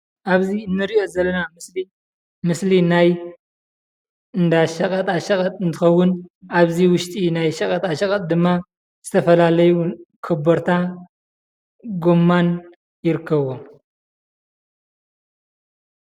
ኣብዚ እንሪኦ ዘለና ምስሊ ምስሊ ናይ እንዳ ሸቐጣሸቐጥ እንትኸውን ኣብዚ ውሽጢ ናይ ሸቐጣሸቐጥ ድማ ዝተፈላለዩ ኮበርታ፣ ጎማን ይርከቡ፡፡